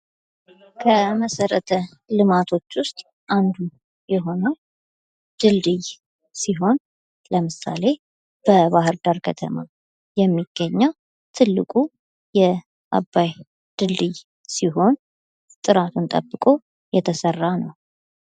ከመሰረተ ልማቶች ውስጥ አንዱ የሆነው ስልስይ ሲሆን ለምሳሌ በባህርዳር ከተማ የሚገኘው ትልቁ የአባይ ድልድይ ሲሆን ጥራቱን ጠብቆ የተሰራ ነው።